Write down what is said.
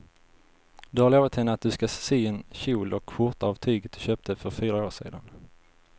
Du har lovat henne att du ska sy en kjol och skjorta av tyget du köpte för fyra år sedan.